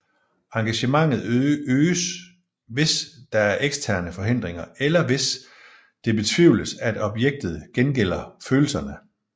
Engagementet øges hvis der er eksterne forhindringer eller hvis det betvivles at objektet gengælder følelserne